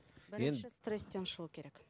енді стресстен шығу керек